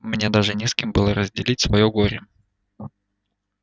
мне даже не с кем было разделить своё горе